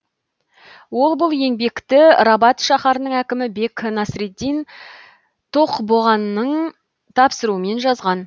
ол бұл еңбекті рабат шаһарының әкімі бек насыретдин тоқбоғаның тапсыруымен жазған